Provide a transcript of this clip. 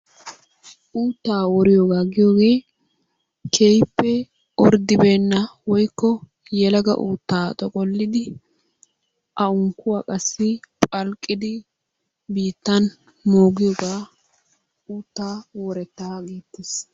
Uuttaa woriyoogaa giyoogaa keehipe ordibeenna woykko yelaga uutaa xoqqollidi a unkkuwa qassi phalqqidi biittan mooggiyogaa uuttaa worettaa geetees.